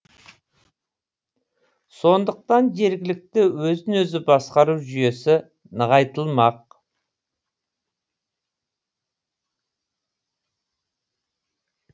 сондықтан жергілікті өзін өзі басқару жүйесі нығайтылмақ